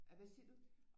Ahvad siger du?